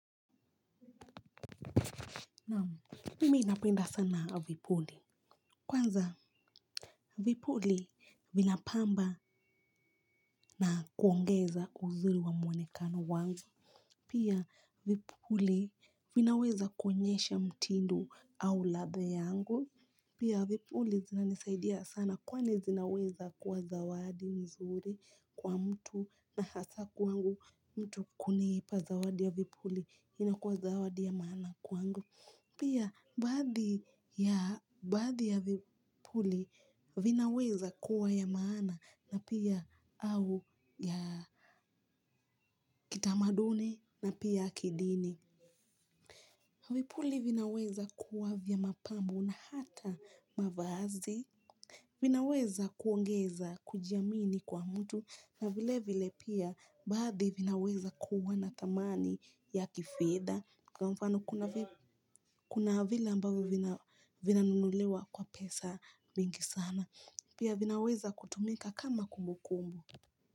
Naam mimi napenda sana vipuli. Kwanza vipuli vinapamba na kuongeza uzuri wa mwonekano wangu. Pia vipuli vinaweza kuonyesha mtindo au ladha yangu. Pia vipuli zinanisaidia sana kwani zinaweza kuwa zawadi mzuri kwa mtu na hasa kwangu mtu kunipa zawadi ya vipuli inakuwa zawadi ya maana kwangu. Pia, baadhi ya vipuli vinaweza kuwa ya maana na pia au ya kitamaduni na pia kidini. Vipuli vinaweza kuwa vya mapambo na hata mavazi. Vinaweza kuongeza kujiamini kwa mtu na vile vile pia baadhi vinaweza kuwa na dhamani ya kifedha. Kwa mfano kuna vile ambavyo vina nunuliwa kwa pesa mingi sana, pia vinaweza kutumika kama kumbu kumbu.